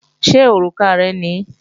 Ṣé òrùka rẹ ni?